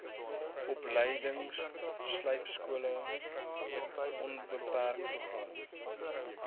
opleidingslypskole onbeperk program